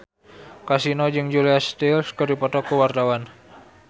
Kasino jeung Julia Stiles keur dipoto ku wartawan